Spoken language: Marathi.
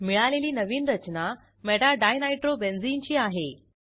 मिळालेली नवीन रचना meta डिनायट्रोबेन्झीन ची आहे